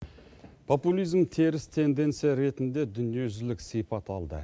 популизм теріс тенденция ретінде дүниежүзілік сипат алды